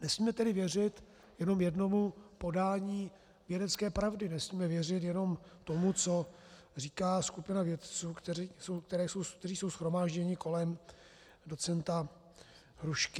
Nesmíme tedy věřit jenom jednomu podání vědecké pravdy, nesmíme věřit jenom tomu, co říká skupina vědců, kteří jsou shromážděni kolem docenta Hrušky.